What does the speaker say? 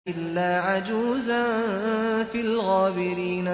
إِلَّا عَجُوزًا فِي الْغَابِرِينَ